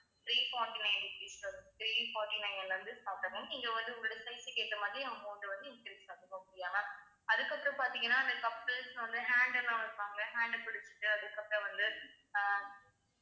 three forty-nine rupees ல three forty-nine ல இருந்து start ஆகும் நீங்க வந்து உங்களோட size க்கு ஏத்த மாதிரி amount வந்து increase அதுக்கப்புறம் பார்த்தீங்கன்னா அந்த couples வந்து hand எல்லாம் வைப்பாங்கல hand அ புடிச்சிட்டு அதுக்கப்பறம் வந்து அஹ்